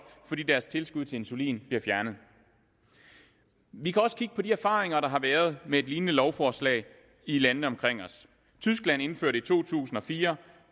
fordi deres tilskud til insulin bliver fjernet vi kan også kigge på de erfaringer der har været med et lignende lovforslag i landene omkring os tyskland indførte i to tusind og fire